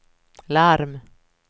larm